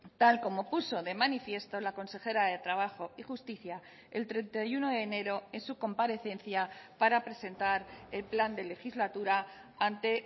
tal como puso de manifiesto la consejera de trabajo y justicia el treinta y uno de enero en su comparecencia para presentar el plan de legislatura ante